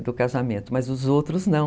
do casamento, mas os outros não.